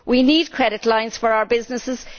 We need credit lines for our businesses.